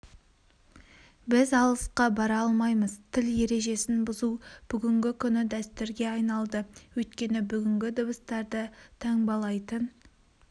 біз алысқа бара алмаймыз тіл ережесін бұзу бүгінгі күні дәстүрге айналды өйткені бүгінгі дыбыстарды таңбалайтын